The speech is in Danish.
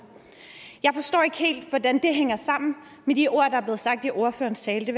jeg forstår ikke helt hvordan det hænger sammen med de ord der blev sagt i ordførerens tale det